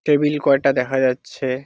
Table কটা দেখা যাচ্ছে।